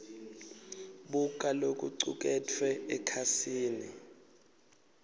buka lokucuketfwe ekhasini